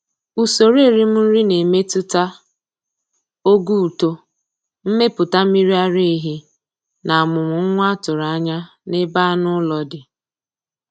Usoro erim nri na-emetụta ogo uto, mmepụta mmiri ara ehi, na amụm nwa a tụrụ anya n'ebe anụ ụlọ dị.